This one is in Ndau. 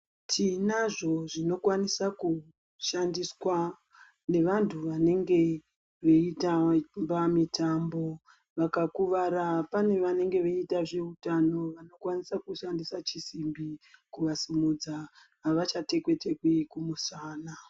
Tinazvo azvinokwanisa kushandiswa nevantu vanenge veitamba mitambo, vakakuvara pane vanenge veita zveutano vanokwanisa kushandisa chisimbi kuvasimidza avachatekwi tekwi kumusana.